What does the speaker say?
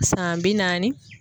San bi naani.